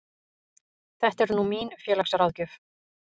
Þetta er nú mín félagsráðgjöf.